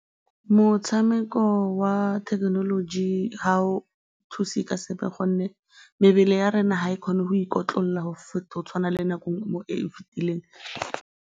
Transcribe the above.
Motshameko wa thekenoloji ga o thuse ka sepe gonne mebele ya rona ga e kgone go ikotlolola go tshwana le nako e e fetileng.